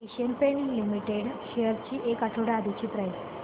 Asian Paints limited shares ची एक आठवड्या आधीची प्राइस